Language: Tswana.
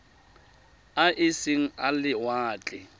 a e seng a lewatle